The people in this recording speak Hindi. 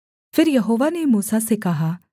फिर यहोवा ने मूसा से कहा